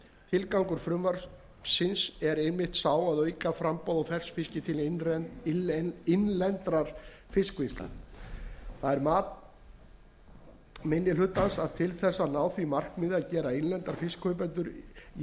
tilgangur frumvarpsins er einmitt sá að auka framboð á ferskfiski til innlendrar fiskvinnslu það er mat fyrsti minni hluta að til þess að ná því markmiði að gera innlenda fiskkaupendur jafnsetta